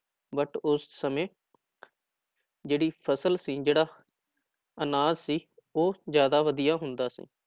But ਉਸ ਸਮੇਂ ਜਿਹੜੀ ਫ਼ਸਲ ਸੀ ਜਿਹੜਾ ਅਨਾਜ ਸੀ ਉਹ ਜ਼ਿਆਦਾ ਵਧੀਆ ਹੁੰਦਾ ਸੀ